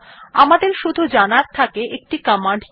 আমাদের শুধু জানার থাকে একটি কমান্ড কি করে